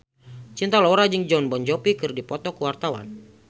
Cinta Laura jeung Jon Bon Jovi keur dipoto ku wartawan